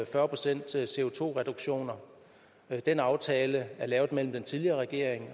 fyrre procent co den aftale er lavet mellem den tidligere regering